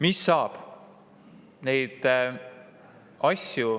Mis saab?